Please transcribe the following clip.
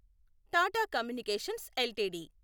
Tata communications LTD